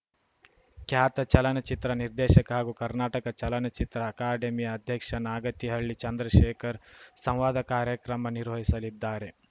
ಖ್ಯಾತ ಚಲನಚಿತ್ರ ನಿರ್ದೆಶಕ ಹಾಗೂ ಕರ್ನಾಟಕ ಚಲನಚಿತ್ರ ಅಕಾಡೆಮಿಯ ಅಧ್ಯಕ್ಷ ನಾಗತಿಹಳ್ಳಿ ಚಂದ್ರಶೇಖರ್‌ ಸಂವಾದ ಕಾರ್ಯಕ್ರಮ ನಿರ್ವಹಿಸಲಿದ್ದಾರೆ